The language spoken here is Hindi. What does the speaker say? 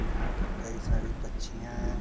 यहाँ पे कई सारी पक्षियाँ हैं।